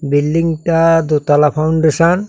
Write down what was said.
বিল্ডিংটা -টা দোতলা ফাউন্ডেশন ।